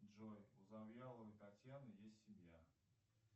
джой у завьяловой татьяны есть семья